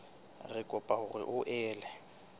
re kopa hore o ele